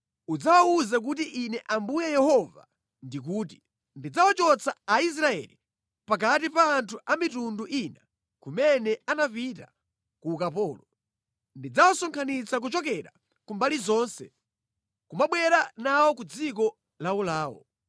udzawawuze kuti Ine Ambuye Yehova ndikuti: Ndidzawachotsa Aisraeli pakati pa anthu a mitundu ina kumene anapita ku ukapolo. Ndidzawasonkhanitsa kuchokera ku mbali zonse ndi kubwera nawo ku dziko lawolawo.